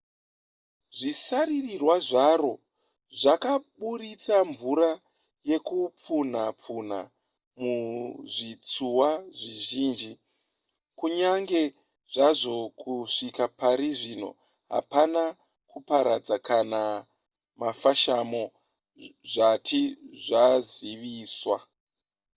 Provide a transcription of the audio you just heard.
zvisaririrwa zvaro zvakaburitsa mvura yekupfunha pfunha muzvitsuwa zvizhinji kunyange zvazvo kusvika pari zvino hapana kuparadza kana mafashamo zvati zvaziviswa